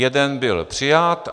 Jeden byl přijat.